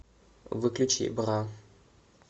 выключи бра